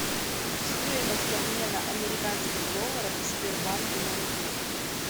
стоимость обмена американских долларов в сбербанке на рубли